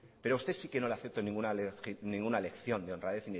pero usted sí que no le afectó ninguna lección de honradez